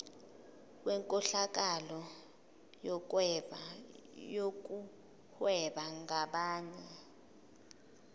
wenkohlakalo yokuhweba ngabanye